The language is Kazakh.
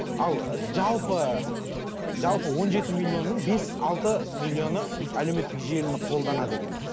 ал ы жалпы ы жалпы он жеті миллионның бес алты миллионы әлеуметтік желіні қолданады екен